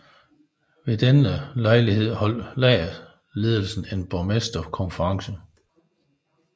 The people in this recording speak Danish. Ved denne lejlighed holdt lejrledelsen en borgmesterkonference